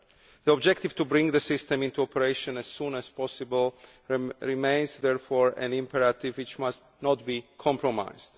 The objective of bringing the system into operation as soon as possible remains, therefore, an imperative which must not be compromised.